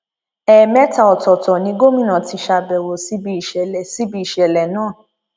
ẹẹmẹta ọtọọtọ ni gómìnà ti ṣàbẹwò síbi ìṣẹlẹ síbi ìṣẹlẹ náà